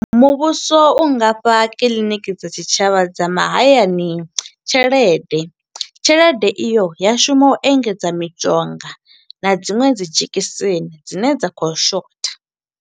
Muvhuso u nga fha kiḽiniki dza tshitshavha dza mahayani tshelede, tshelede i yo ya shuma u engedza mishonga, na dziṅwe dzi dzhegiseni dzine dza khou shotha.